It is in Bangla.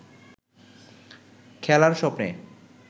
খেলার স্বপ্নে